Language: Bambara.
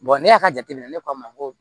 ne y'a jateminɛ ne ko a ma ko